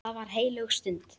Það var heilög stund.